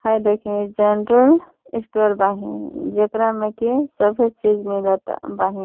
हई देखीं general store बाहिन जेकरा में कि सभी चीज मिलता बाहिन।